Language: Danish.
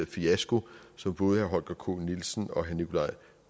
fiasko som både herre holger k nielsen og herre nikolaj